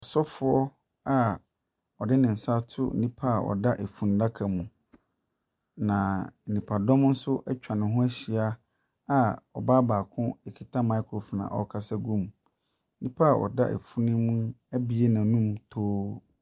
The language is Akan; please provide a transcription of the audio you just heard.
Ɔsɔfoɔ a ɔde ne nsa ato nipa a ɔda funnaka mu, na nipadɔm nso atwa ne ho ahyia a ɔbaa baako kita micriphone a ɔrekasa gu mu. Nnipa a ɔda funu mu abue n'anum too.